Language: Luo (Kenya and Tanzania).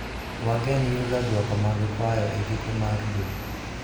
wagen yudo dwoko mag kwayo e giko mar dwe